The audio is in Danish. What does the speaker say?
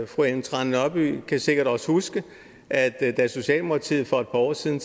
fru ellen trane nørby kan sikkert også huske at da socialdemokratiet for et par år siden